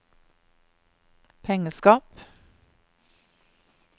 pengeskap